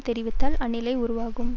தெரிவித்தால் அந்நிலை உருவாகும்